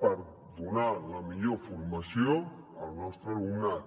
per donar la millor formació al nostre alumnat